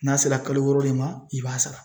N'a sera kalo wɔɔrɔ de ma i b'a sara